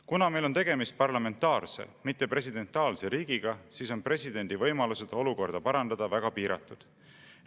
Kuna meil on tegemist parlamentaarse, mitte presidentaalse riigiga, siis on presidendi võimalused olukorda parandada väga piiratud.